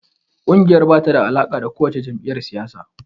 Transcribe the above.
Ƙungiyar ba ta da alaƙa da kowace jam’iyyar siyasa.